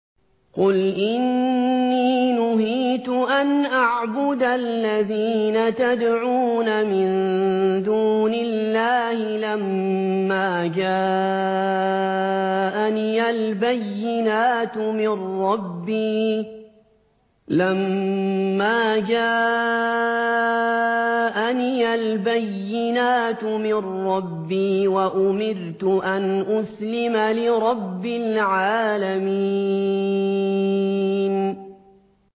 ۞ قُلْ إِنِّي نُهِيتُ أَنْ أَعْبُدَ الَّذِينَ تَدْعُونَ مِن دُونِ اللَّهِ لَمَّا جَاءَنِيَ الْبَيِّنَاتُ مِن رَّبِّي وَأُمِرْتُ أَنْ أُسْلِمَ لِرَبِّ الْعَالَمِينَ